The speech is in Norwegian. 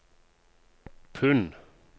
pund